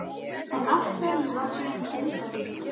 En af hverju valdi hann Grindavík?